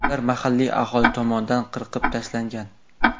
Ular mahalliy aholi tomonidan qirib tashlangan.